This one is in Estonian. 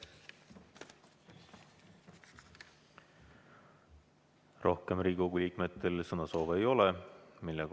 Rohkem Riigikogu liikmetel sõnasoove ei ole.